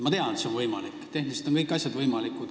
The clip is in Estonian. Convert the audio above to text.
Ma tean, et see on võimalik – tehniliselt on kõik asjad võimalikud.